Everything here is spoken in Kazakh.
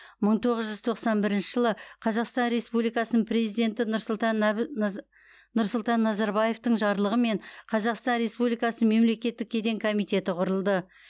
мың тоғыз жүз тоқсан бірінші жылы қазақстан республикасының президенті нұрсұлтан назарбаевтың жарлығымен қазақстан республикасы мемлекеттік кеден коммитеті құрылды